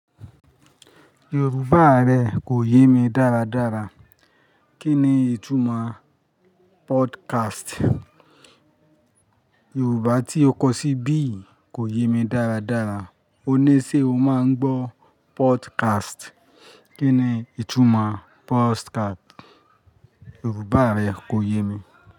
Yorùbá rẹ kò yé mi dáradára. Kí ni ìtumọ̀ podcast? Yorùbá tí o kọ sí ibí yi kò yé mi dáradára. O ní sé o máa ń gbọ́ podcast. Kí ni ìtumọ̀ podcast? Yorùbá rẹ kò yé mi.